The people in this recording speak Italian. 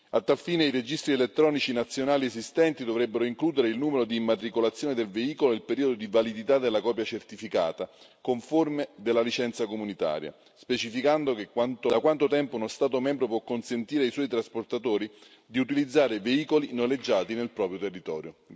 A tal fine i registri elettronici nazionali esistenti dovrebbero includere il numero di immatricolazione del veicolo e il periodo di validità della copia certificata conforme della licenza comunitaria, specificando da quanto tempo uno Stato membro può consentire ai suoi trasportatori di utilizzare veicoli noleggiati nel proprio territorio.